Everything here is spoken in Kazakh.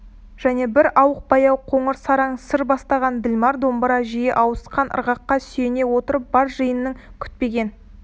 және бір ауық баяу қоңыр сараң сыр бастаған ділмар домбыра жиі ауысқан ырғаққа сүйене отырып бар жиынның күтпеген